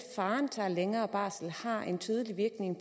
faren tager længere barsel har en tydelig virkning